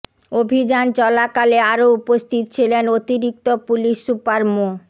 অভিযান চলাকালে আরো উপস্থিত ছিলেন অতিরিক্ত পুলিশ সুপার মো